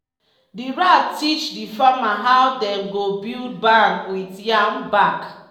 di rat teach di farmer how dem go build barn wit yam back.